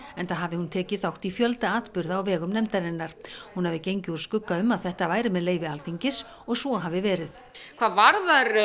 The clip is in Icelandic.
enda hafi hún tekið þátt í fjölda atburða á vegum nefndarinnar hún hafi gengið úr skugga um að þetta væri með leyfi Alþingis og svo hafi verið hvað varðar